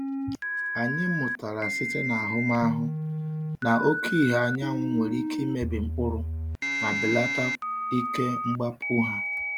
Anyị mụtara site n’ahụmahụ na oke ìhè anyanwụ nwere ike imebi mkpụrụ ma belata ike mgbapụ ha.